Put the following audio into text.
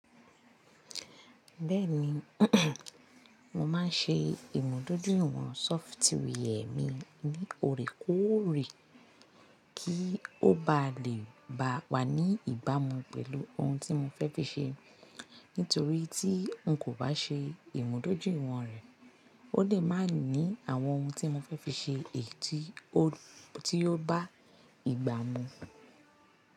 Bẹ́ẹ̀ni, mo máa ń ṣe ìmúdójúìwọ̀n sọfitíwi ẹ̀ mi ní òrékòrè kí ó ba lè bá wa ní ìbámu pẹ̀lú ohun tí mo fẹ́ fi ṣe. Nítorí tí n kò bá ṣe ìmúdójúìwọ̀n rẹ̀, ó lè má ní àwọn ohun tí mo fẹ́ fi ṣe èyí tí ó bá ìgbámu.